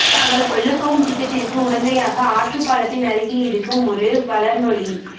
தாங்கள் கொல்லப்போகும் திட்டத்திற்கு உடந்தையாக ஆற்றுப் பாலத்தின் அருகில் இருக்கும் ஒரு வலனொலி